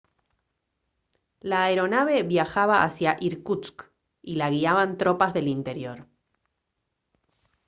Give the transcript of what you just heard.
la aeronave viajaba hacia irkutsk y la guiaban tropas del interior